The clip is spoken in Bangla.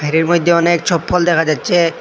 ভেরির মইধ্যে অনেক চপ্পল দেখা যাচ্ছে।